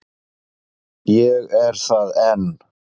Ég er það enn.